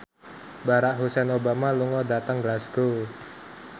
Barack Hussein Obama lunga dhateng Glasgow